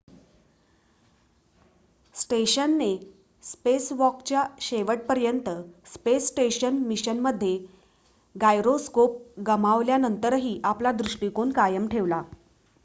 स्टेशनने स्पेसवॉकच्या शेवटपर्यंत space station मिशनमध्ये गायरोस्कोप गमावल्यानंतरही आपला दृष्टिकोन कायम ठेवला